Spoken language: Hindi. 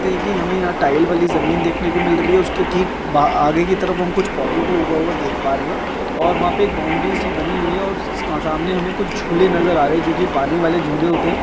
तेगी हमें यहाँ टाइल वाली जमीन देखने को मिल रही हैं उसके ठीक ब आगे कि तरफ हम कुछ पौधों को उगा हुआ देख प रहे हैं और वहाँ पे एक बॉउन्डरी सी बनी हुई हैं और सामने हमें कुछ झूले नज़र आ रहे हैं जो कि पानी वाले झूले होते हैं।